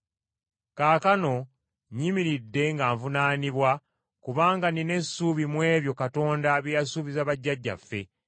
Kaakano nnyimiridde nga nvunaanibwa, kubanga nnina essuubi mu ebyo Katonda bye yasuubiza bajjajjaffe,